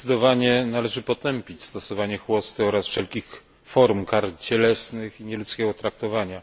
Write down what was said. Zdecydowanie należy potępić stosowanie chłosty oraz wszelkich form kar cielesnych i nieludzkiego traktowania.